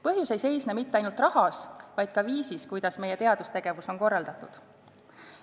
Põhjus ei seisne mitte ainult rahas, vaid ka viisis, kuidas meie teadustegevus on korraldatud.